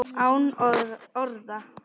Án orða.